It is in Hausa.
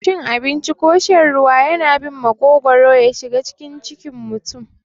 Cin abinci ko shan ruwa yana bin maƙogwaro yashiga cikin mutum.